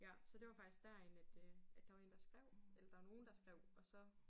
Ja så det var faktisk derinde at øh at der var én der skrev eller der var nogen der skrev og så